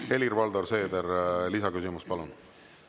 Helir-Valdor Seeder, lisaküsimus, palun!